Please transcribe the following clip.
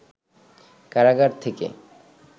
কারাগার থেকে